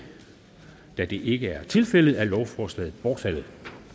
da det ikke er tilfældet er lovforslaget bortfaldet